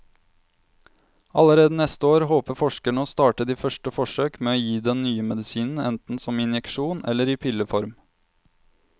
Allerede neste år håper forskerne å starte de første forsøk med å gi den nye medisinen enten som injeksjon eller i pilleform.